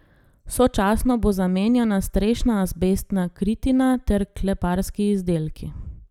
Sočasno bo zamenjana strešna azbestna kritina ter kleparski izdelki.